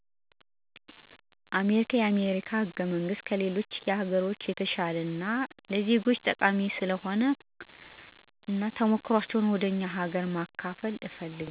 አሜሪካ የአሜሪካ ህገመንግስት ከሌሎች ሀገሮች የተሸለ እና ለዜጎች ጠቃሚ ስለሆነ እና ተሞክሮዎችን ወደ እኛ ሀገር መከፈል